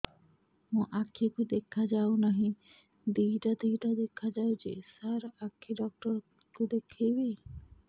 ମୋ ଆଖିକୁ ଦେଖା ଯାଉ ନାହିଁ ଦିଇଟା ଦିଇଟା ଦେଖା ଯାଉଛି ସାର୍ ଆଖି ଡକ୍ଟର କୁ ଦେଖାଇବି